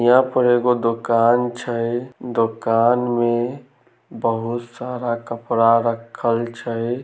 यहाँ पर एगो दुकान छै दुकान में बहुत सारा कपड़ा रखल छै।